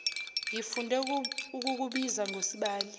ngifunde ukukubiza ngosibali